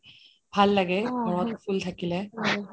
ভাল লাগে ঘৰত ফুল থাকিলে